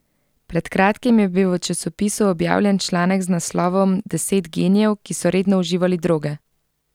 Pred kratkim je bil v časopisu objavljen članek z naslovom Deset genijev, ki so redno uživali droge.